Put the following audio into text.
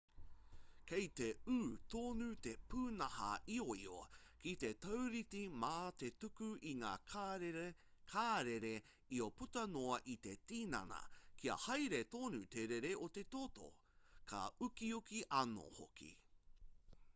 kei te ū tonu te pūnaha ioio ki te taurite mā te tuku i ngā karere io puta noa i te tinana kia haere tonu te rere o te toto ka ukiuki anō hoki